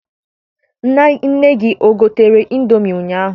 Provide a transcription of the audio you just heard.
Nne gị egotere ịndomi ụnyaahụ?